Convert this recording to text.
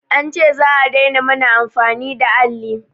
An ce za'a daina mana amfani da alli